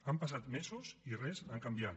han passat mesos i res ha canviat